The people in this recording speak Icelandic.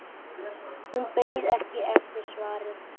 Hún beið ekki eftir svari.